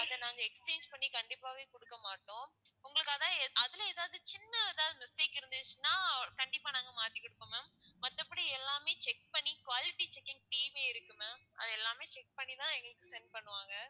அதை நாங்க exchange பண்ணி கண்டிப்பாவே குடுக்கமாட்டோம் உங்களுக்கு அது அதுல ஏதாவது சின்ன ஏதாவது mistake இருந்திச்சுன்னா கண்டிப்பா நாங்க மாத்தி கொடுப்போம் ma'am மத்தபடி எல்லாமே check பண்ணி quality checking team ஏ இருக்கு ma'am அத எல்லாமே check பண்ணிதான் எங்களுக்கு send பண்ணுவாங்க